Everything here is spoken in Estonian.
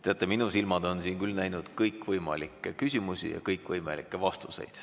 Teate, minu silmad on siin küll näinud kõikvõimalikke küsimusi ja kõikvõimalikke vastuseid.